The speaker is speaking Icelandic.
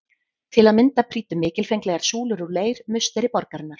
Til að mynda prýddu mikilfenglegar súlur úr leir musteri borgarinnar.